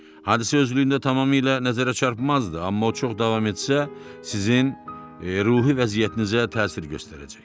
Hadisə özlüyündə tamamilə nəzərə çarpmadız, amma o çox davam etsə, sizin ruhi vəziyyətinizə təsir göstərəcək.